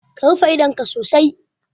Ka rufe idonka sosai